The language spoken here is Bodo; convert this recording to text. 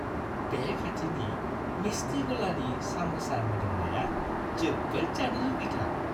बे खाथिनि मिस्टि-गलानि साम'सा मोदोमनाया जोबोद जानो लुगैथाव।